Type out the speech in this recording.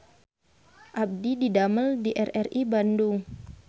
Abdi didamel di RRI Bandung